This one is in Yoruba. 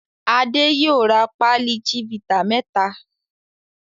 Adé yóò ra pálí Chivita mẹ́ta.